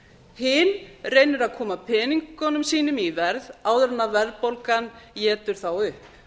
hin reynir að koma peningunum sínum í verð áður en verðbólgan étur þá upp